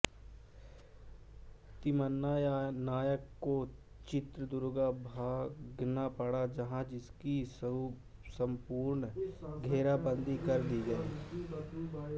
तिम्मन्ना नायक को चित्रदुर्ग भागना पड़ा जहां उसकी संपूर्ण घेराबंदी कर दी गयी